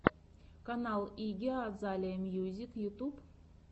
канал игги азалия мьюзик ютьюб